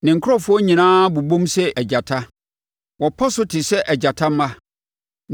Ne nkurɔfoɔ nyinaa bobom sɛ agyata, wɔpɔ so te sɛ agyata mma.